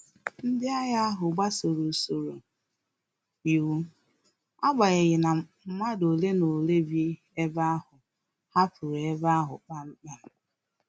Ndị agha ahu gbasoro usoro iwu, agbanyeghi na madu ole na ole bi ebe ahụ hapụrụ ebe ahu kpam kpam